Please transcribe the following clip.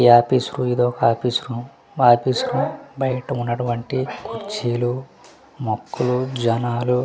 ఈ యాపీస్ రో ఏదోక యాపీస్ రూమ్ మా యాపీస్ రూమ్ బయట ఉన్నటువంటి కుర్చీలు మొక్కలు జనాలు --